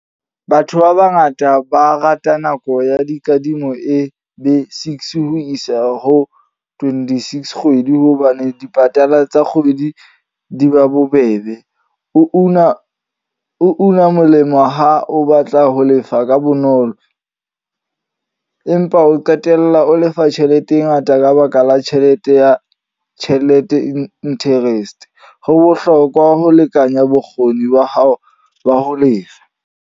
Batho ba bangata ba rata nako ya dikadimo e be six ho isa ho twenty-six kgwedi. Hobane dipatala tsa kgwedi di ba bobebe. O una, o una molemo ha o batla ho lefa ka bonolo. Empa o qetella o lefa tjhelete e ngata ka baka la tjhelete ya tjhelete interest. Ho bohlokwa ho lekanya bokgoni ba hao ba ho lefa.